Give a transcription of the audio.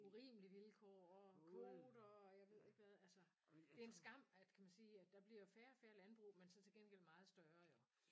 Urimelig vilkår og kvoter og jeg ved ikke hvad altså. Det en skam at kan man sige at der bliver færre og færre landbrug men så til gengæld meget større jo